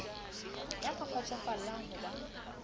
ya ka kgotsofallang ho ba